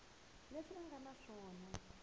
leswi a nga na swona